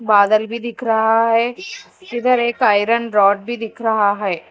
बादल भी दिख रहा है इधर एक आयरन रॉड भी दिख रहा है।